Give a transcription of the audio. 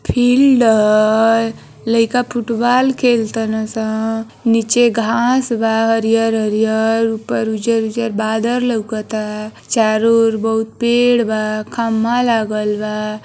Field ह लइका football खेल तारन सं निचे घांस बा हरियर-हरियर ऊपर उजर-उजर बादल लउकता चारो ओर बहुत पेड़ बा खंभा लागल बा।